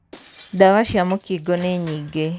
ndawa cia mūkingo nī nyingī.